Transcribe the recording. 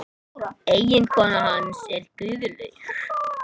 Eiginkona hans er Guðlaug